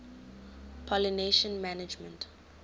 pollination management